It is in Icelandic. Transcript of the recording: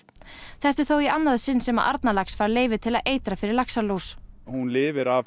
þetta er þó í annað sinn sem að Arnarlax fær leyfi til að eitra fyrir laxalús hún lifir